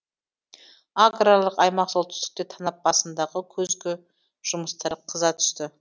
аграрлық аймақ солтүстікте танап басындағы күзгі жұмыстар қыза түсті